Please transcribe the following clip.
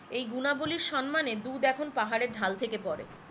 এই গুনা বলির সম্মানে দুধ এখন পাহাড়ের ঢাল থেকে পড়ে